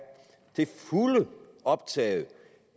optaget